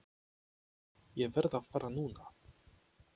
Ég verð að fara núna!